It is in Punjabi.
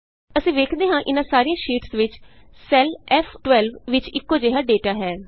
ਅਸੀਂ ਵੇਖਦੇ ਹਾਂ ਕਿ ਇਹਨਾਂ ਸਾਰੀਆਂ ਸ਼ੀਟਸ ਵਿਚ ਸੈੱਲ F12ਵਿਚ ਇਕੋ ਜਿਹਾ ਡੇਟਾ ਹੈ